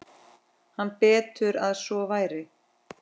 Hann: Betur að svo væri.